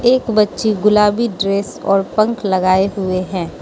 एक बच्ची गुलाबी ड्रेस और पंख लगाए हुए हैं।